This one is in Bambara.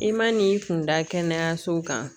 I ma n'i kun da kɛnɛyasow kan